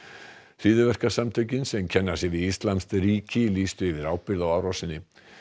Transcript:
hryðjuverkasamtökin sem kenna sig við íslamskt ríki lýstu yfir ábyrgð á árásinni